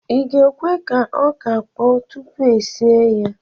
ị ga-ekwe ka ọka kpọọ tupu e sie ya?